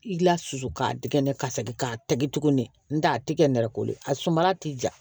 I la susu k'a tɛgɛ n'a segin k'a tɛgɛ tuguni n'o tɛ a ti kɛ nɛrɛ ko ye a suma ti ja